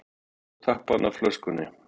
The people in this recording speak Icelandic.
Skrúfaði tappann af flöskunni.